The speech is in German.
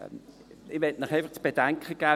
Ich möchte Ihnen einfach zu bedenken geben: